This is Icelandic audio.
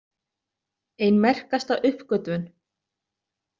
Ein merkasta uppgötvun.